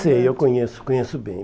Sei, eu conheço conheço bem.